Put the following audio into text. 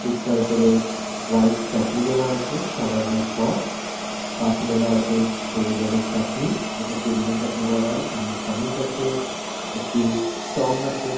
টিক্কার ওপরে হোয়াইট চাটনি দেওয়া আছে সাদা রঙের সস পাশে দেওয়া আছে সবুজ রঙের চাটনি যেটা পুদিনা চাটনি বলা হয়। সামনে চামচ আছে। একটি টং আছে।